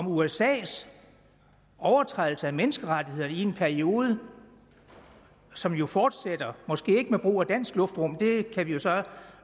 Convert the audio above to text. usas overtrædelse af menneskerettighederne i en periode som jo fortsætter måske ikke med brug af dansk luftrum det kan vi jo så